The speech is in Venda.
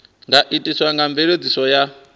nga itiswa nga mveledziso ya